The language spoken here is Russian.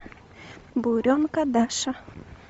буренка даша